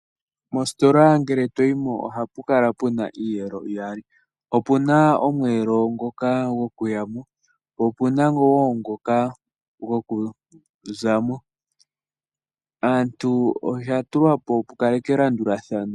Moositola ngele toyimo ohapu kala puna iiyelo iyali opuna omweelo ngoka goku yamo po opuna wo ngoka goku zamo , osha tulwa po opo ku kalekwe elandulathano.